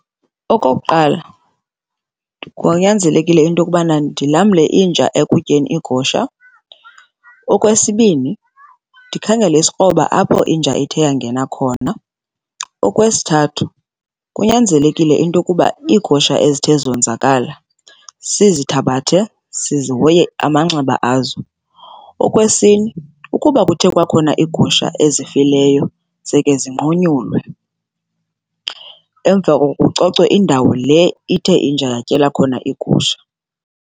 Okokuqala, kunyanzelekile ukuba ndilamle inja ekutyeni iigusha. Okwesibini, ndikhangele isikroba apho inja ithe yangena khona. Okwesithathu, kunyanzelekile into yokuba iigusha ezithe zonzakala sizithabathe, sizihoye amanxeba azo. Okwesine, ukuba kuthe kwakhona iigusha ezifileyo zeke zinqunyulwe, emva koko kucocwe indawo le ithe inja yatyela khona igusha.